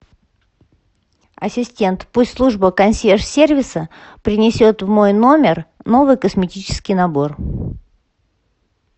ассистент пусть служба консьерж сервиса принесет в мой номер новый косметический набор